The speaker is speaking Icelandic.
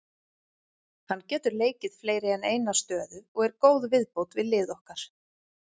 Hann getur leikið fleiri en eina stöðu og er góð viðbót við lið okkar.